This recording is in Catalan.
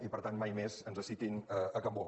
i per tant mai més ens citin cambó